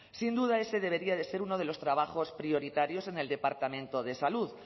sin duda ese debería de ser uno de los trabajos prioritarios en el departamento de salud